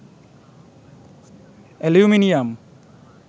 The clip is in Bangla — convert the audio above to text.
অ্যালুমিনিয়াম